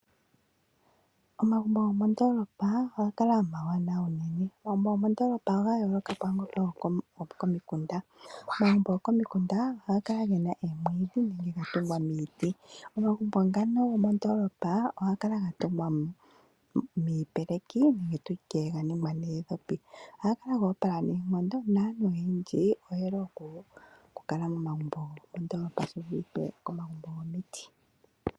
Omagumbo gomondolopa ohaga kala omawanawa unene. Omagumbo gomondolopa oga yooloka kwaangoka gokomikunda. Omagumbo gokomikunda ohaga kala gena omwiidhi nenge gatungwa niiti. Omagumbo ngono gomondolopa ohaga kala gatungwa miipeleki nenge tutye ga ningwa noondhopi . Ohaga kala goopala noonkondo naantu oyendji oyeli oku kala momagumbo gomondolopa shi vulithe komagumbo gomiti.